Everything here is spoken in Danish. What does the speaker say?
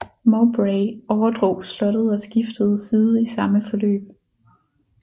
Mowbray overdrog slottet og skiftede side i samme forløb